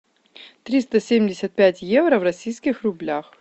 триста семьдесят пять евро в российских рублях